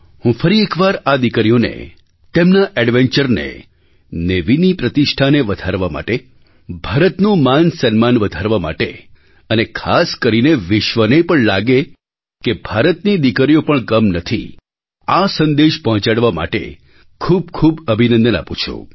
હું ફરી એક વાર આ દીકરીઓને તેમના ઍડ્વેન્ચરને નેવીની પ્રતિષ્ઠાને વધારવા માટે ભારતનું માનસન્માન વધારવા માટે અને ખાસ કરીને વિશ્વને પણ લાગે કે ભારતની દીકરીઓ પણ કમ નથી આ સંદેશ પહોંચાડવા માટે ખૂબ ખૂબ અભિનંદન આપું છું